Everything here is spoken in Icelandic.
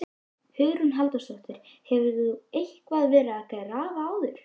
Hugrún Halldórsdóttir: Hefur þú eitthvað verið að graffa áður?